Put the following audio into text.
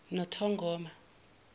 nothongoma